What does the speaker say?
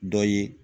Dɔ ye